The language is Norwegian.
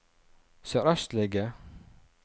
sørøstlige